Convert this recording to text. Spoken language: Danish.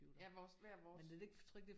Ja vores hver vores